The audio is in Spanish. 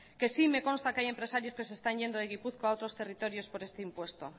que sí me consta que hay empresarios que se están yendo de gipuzkoa a otros territorios por este impuesto